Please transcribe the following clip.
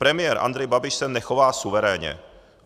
Premiér Andrej Babiš se nechová suverénně.